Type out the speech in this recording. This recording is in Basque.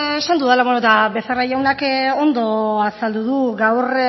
azaldu dela eta becerra jaunak ondo azaldu du gaur